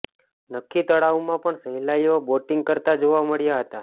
નખી તળાવમાં પણ સહેલાઈઓ બોટીગ કરતા જોવા મળ્યા હતા